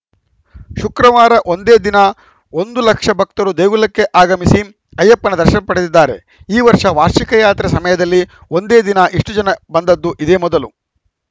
ಶುಕ್ರವಾರ ಒಂದೇ ದಿನ ಒಂದು ಲಕ್ಷ ಭಕ್ತರು ದೇಗುಲಕ್ಕೆ ಆಗಮಿಸಿ ಅಯ್ಯಪ್ಪನ ದರ್ಶನ ಪಡೆದಿದ್ದಾರೆ ಈ ವರ್ಷ ವಾರ್ಷಿಕ ಯಾತ್ರೆ ಸಮಯದಲ್ಲಿ ಒಂದೇ ದಿನ ಇಷ್ಟುಜನ ಬಂದದ್ದು ಇದೇ ಮೊದಲು